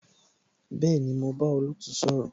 Bẹẹni, mo bá olootu sọ̀rọ̀